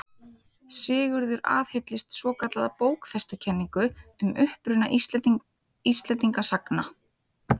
Sigurður aðhylltist svokallaða bókfestukenningu um uppruna Íslendinga sagna.